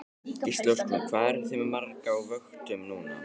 Gísli Óskarsson: Hvað eruð þið með marga á vöktum núna?